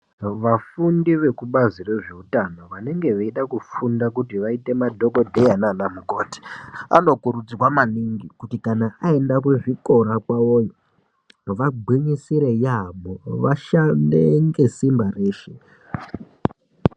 Vafundi vekubazi rezveutano vanonge vechida kufunda kuita nadhokodheya naana mukoti anokurudzirwa maningi kuti kana aenda kuzvikora kwawoyo vagwinyisire yaampho vashande ngesimba reshe.